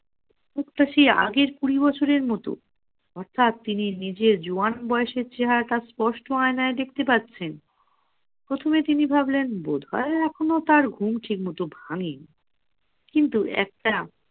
মুখটা সেই আগের কুড়ি বছরের মতো অর্থাৎ তিনি নিজের জোয়ান বয়সের চেহারাটা স্পষ্ট আয়নাই দেখতে পাচ্ছেন প্রথমে তিনি ভাবলেন বোধ হয় এখনো তার ঘুম ঠিক মতো আমি কিন্তু একটা